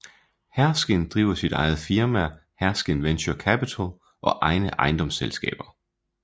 Herskind driver sit eget firma Herskind Venture Capital og egne ejendomsselskaber